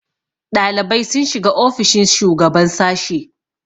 ɗalibai sun shiga ofishin shugaban sashe